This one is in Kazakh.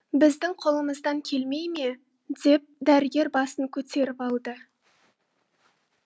біздің қолымыздан келмей ме деп дәрігер басын көтеріп алды